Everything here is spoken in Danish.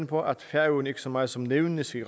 på at færøerne ikke så meget som nævnes i